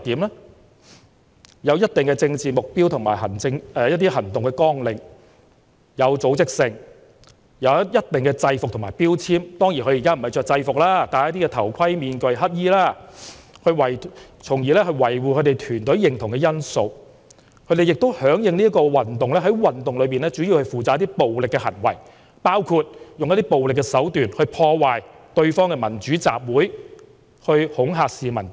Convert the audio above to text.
他們有一定的政治目標和行動綱領、有組織、有制服和標籤，當然他們現在穿的不是制服，而是戴頭盔、面具和黑衣，從而維護團隊認同的因素；他們響應運動，在運動中主要負責進行一些暴力行為，包括使用暴力手段，破壞對方的民主集會，以及恐嚇市民等。